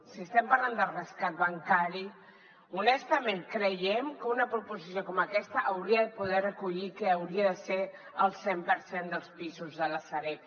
si estem parlant del rescat bancari honestament creiem que una proposició com aquesta hauria de poder recollir que hauria de ser el cent per cent dels pisos de la sareb